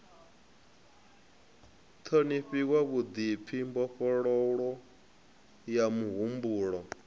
ṱhonifhiwa vhuḓipfi mbofholowo ya muhumbulo